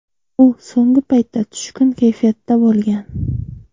U so‘nggi paytda tushkun kayfiyatda bo‘lgan.